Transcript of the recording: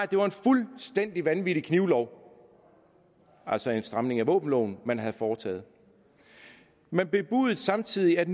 det var en fuldstændig vanvittig knivlov og altså stramning af våbenloven man havde foretaget man bebudede samtidig at